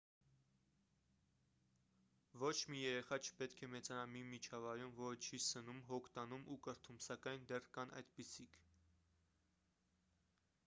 ոչ մի երեխա չպետք է մեծանա մի միջավայրում որը չի սնում հոգ տանում ու կրթում սակայն դեռ կան այդպիսիք